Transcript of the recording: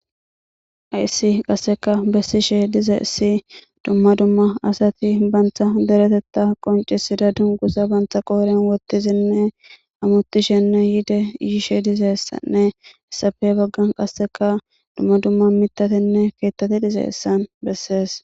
ayissi qasseka bessishe dize issi dumma dumma asati bantha deretetta qoncisida dunguza bantha qooren wottizinne amutishenne yiide yiishe dizessanne essafe baggan qasseka dumma dumma mitatenne keettate dize issan bessees